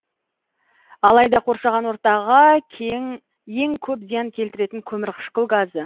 алайда қоршаған ортаға ең көп зиян келтіретін көмірқышқыл газы